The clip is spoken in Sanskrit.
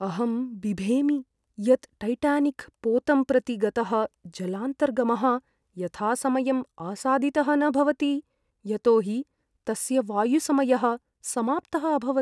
अहं बिभेमि यत् टैटानिक् पोतं प्रति गतः जलान्तर्गमः यथासमयम् आसादितः न भवति यतो हि तस्य वायुसमयः समाप्तः अभवत्।